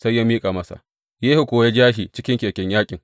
Sai ya miƙa masa, Yehu kuwa ya ja shi cikin keken yaƙin.